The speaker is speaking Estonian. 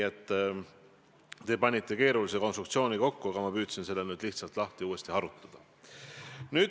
Te panite kokku keerulise konstruktsiooni, aga ma püüdsin selle nüüd lihtsalt uuesti lahti harutada.